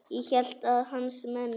Ég hélt að hans menn.